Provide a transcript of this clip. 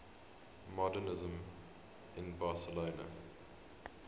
modernisme in barcelona